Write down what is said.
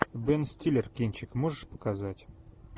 бен стиллер кинчик можешь показать